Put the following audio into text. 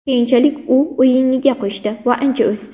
Keyinchalik u o‘yiniga qo‘shdi va ancha o‘sdi.